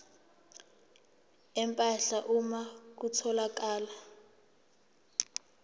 empahla uma kutholakala